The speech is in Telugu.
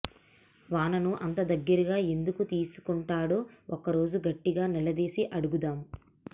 వానను అంత దగ్గరగా ఎందుకు తీసుకుంటాడో ఒకరోజు గట్టిగా నిలదీసి అడుగుదాం